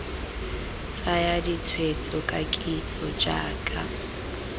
tsaya ditshwetso ka kitso jaaka